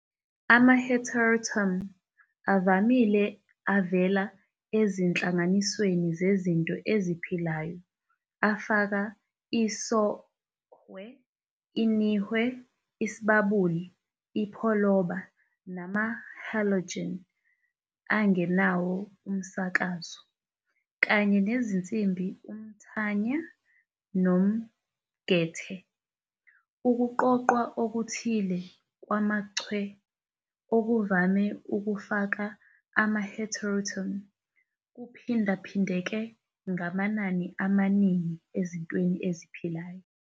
Ama-heteroatom avamile avela ezinhlanganisweni zezinto eziphilayo afaka isOhwe, iNihwe, iSibabuli, iPholoba, nama-halogen angenawo umsakazo, kanye nezinsimbi uMthanya nomGethe. Ukuqoqwa okuthile kwamaChwe, okuvame ukufaka ama-heteroatom, kuphindaphindeka ngamanani amaningi ezinto eziphilayo.